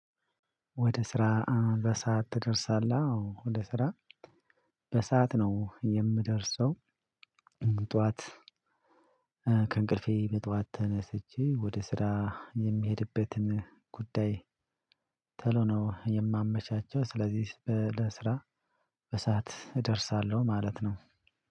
ወደ ስራ በሰአት ትደርሳለህ? አወ ወደ ስራ በሰአት ነው የምደርሰው። ጠዋት ከእንቅልፌ በጠዋት ተነስቼ ወደ ስራ የምሄድበትን ጉዳይ ተሎ ነው የማመቻቸው። ስለዚህ ስራ በሰአት እደርሳለሁ። ማለት ነው።